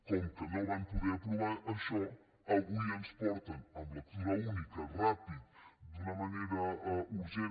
com que no van poder aprovar això avui ens porten en lectura única ràpidament d’una manera urgent